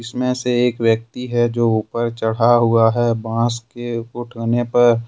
इसमें से एक व्यक्ति है जो ऊपर चढ़ा हुआ है बांस के उठने पर--